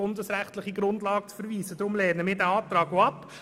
Deshalb lehnen wir diesen Antrag ab.